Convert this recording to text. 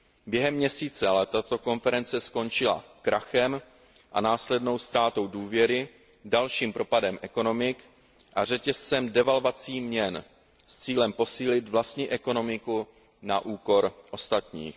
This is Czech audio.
Během měsíce ale tato konference skončila krachem a následnou ztrátou důvěry, dalším propadem ekonomik a řetězcem devalvací měn s cílem posílit vlastní ekonomiku na úkor ostatních.